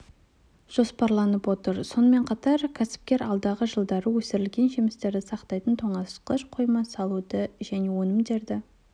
жоспарланып отыр сонымен қатар кәсіпкер алдағы жылдары өсірілген жемістерді сақтайтын тоңазытқыш қойма салуды және өнімдерді